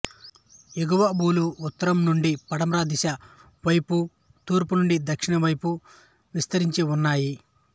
ఎగువభూలు ఉత్తరం నుండి పడమర దిశ వైపు తూర్పు నుండి దక్షిణం వైపు విస్తరించి ఉన్నాయి